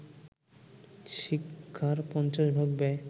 শিক্ষার পঞ্চাশ ভাগ ব্যয়